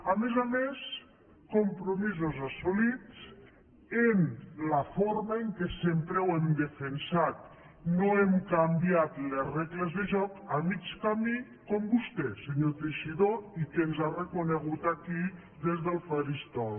a més a més compromisos assolits en la forma que sempre hem defensat no hem canviat les regles de joc a mig camí com vostè senyor teixidó i que ens ha reconegut aquí des del faristol